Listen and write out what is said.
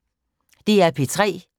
DR P3